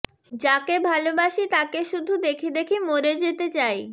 যাকে ভালোবাসি তাকে শুধু দেখে দেখে মরে যেতে চাই